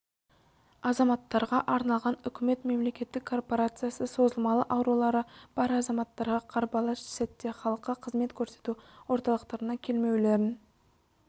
азаматтарға арналған үкімет мемлекеттік корпорациясы созылмалы аурулары бар азаматтарға қарбалас сәтте халыққа қызмет көрсету орталықтарына келмеулерін